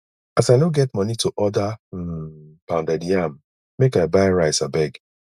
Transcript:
as i no get moni to order um pounded yam make i buy rice abeg